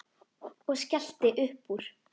Og skellti upp úr.